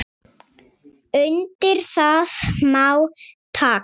Undir það má taka.